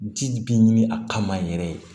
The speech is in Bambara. Ji bi ɲini a kama yɛrɛ